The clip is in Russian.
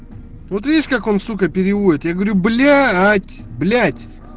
вот видишь как он сука переводит я говорю блять блять